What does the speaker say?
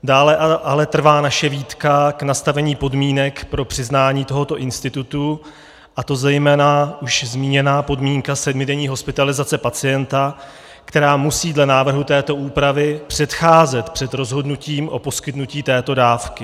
Dále ale trvá naše výtka k nastavení podmínek pro přiznání tohoto institutu, a to zejména už zmíněná podmínka sedmidenní hospitalizace pacienta, která musí dle návrhu této úpravy předcházet před rozhodnutím o poskytnutí této dávky.